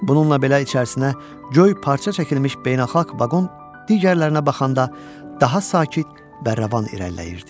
Bununla belə içərisinə coyy parça çəkilmiş beynəlxalq vaqon digərlərinə baxanda daha sakit, bərravan irəliləyirdi.